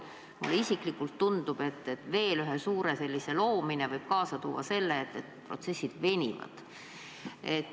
Mulle isiklikult tundub, et veel ühe suure organisatsiooni loomine võib kaasa tuua selle, et protsessid venivad.